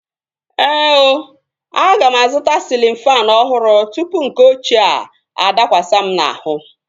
Ee ooo, aga m azụta sịlịn faanụ ọhụrụ tụpụ nke ọchịea adakwasi m n'ahụ